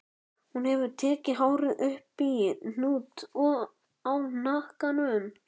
Hún hefur tekið hárið upp í hnút í hnakkanum.